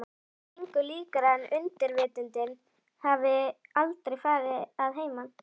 Samt engu líkara en undirvitundin hafi aldrei farið að heiman.